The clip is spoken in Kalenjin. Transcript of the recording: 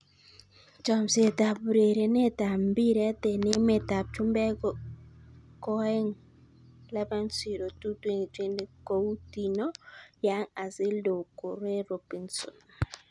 Chomset ab urerenet ab mbiret eng emet ab chumbek koaeng' 11.02.2020: Coutinho, Young, Ozil, Doucoure, Robinson